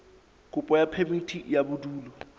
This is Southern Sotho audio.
kopo ya phemiti ya bodulo